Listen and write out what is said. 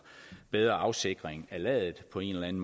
bedre afsikring af ladet på en